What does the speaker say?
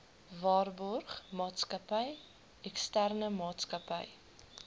waarborgmaatskappy eksterne maatsakappy